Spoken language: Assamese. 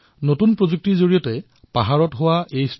নতুন প্ৰযুক্তিৰ জৰিয়তে এনে প্ৰয়াস দেশৰ অন্য প্ৰান্ততো কৰা হৈছে